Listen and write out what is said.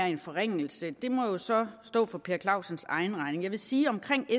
en forringelse må jo så stå for herre per clausens egen regning jeg vil sige om